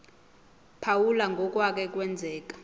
phawula ngokwake kwenzeka